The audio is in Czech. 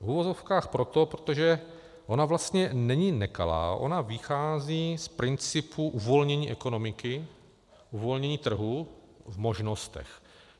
V uvozovkách proto, protože ona vlastně není nekalá, ona vychází z principu uvolnění ekonomiky, uvolnění trhu v možnostech.